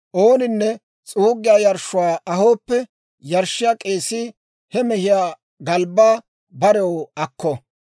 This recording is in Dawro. Ooninne s'uuggiyaa yarshshuwaa ahooppe yarshshiyaa k'eesii he mehiyaa galbbaa barew akko.